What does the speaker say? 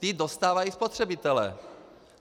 Ty dostávají spotřebitelé.